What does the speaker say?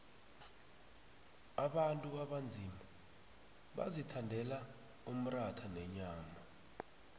abantu abanzima bazithandela umratha nenyama